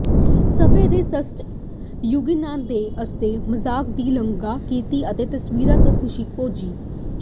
ਸਫ਼ੇ ਦੇ ਸਦੱਸ ਯੂਗੇਨਾਈਜੇ ਨੇ ਉਸਦੇ ਮਜ਼ਾਕ ਦੀ ਸ਼ਲਾਘਾ ਕੀਤੀ ਅਤੇ ਤਸਵੀਰ ਤੋਂ ਖੁਸ਼ੀ ਭੋਗੀ